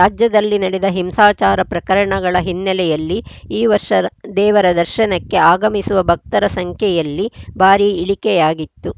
ರಾಜ್ಯದಲ್ಲಿ ನಡೆದ ಹಿಂಸಾಚಾರ ಪ್ರಕರಣಗಳ ಹಿನ್ನೆಲೆಯಲ್ಲಿ ಈ ವರ್ಷ ದೇವರ ದರ್ಶನಕ್ಕೆ ಆಗಮಿಸುವ ಭಕ್ತರ ಸಂಖ್ಯೆಯಲ್ಲಿ ಭಾರೀ ಇಳಿಕೆಯಾಗಿತ್ತು